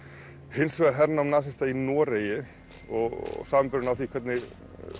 hins vegar hernám nasista í Noregi og samanburðurinn á því hvernig